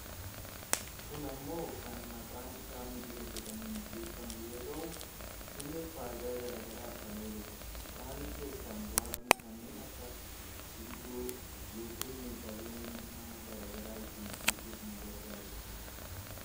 kun ammoo kan maqaan isaa migira jedhamuun beekkamu yoo ta'u , innis fayidaa gara garaaf kan ooludha, isaan keessaa muraasni, kanneen akka gundoo yookaan meeshaalee manaa gara garaa ittiin hojjachuuf nu gargaarudha.